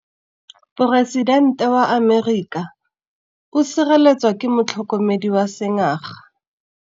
Poresitêntê wa Amerika o sireletswa ke motlhokomedi wa sengaga.